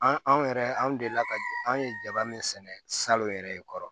An anw yɛrɛ anw delila ka an ye jaba min sɛnɛ salon yɛrɛ kɔrɔ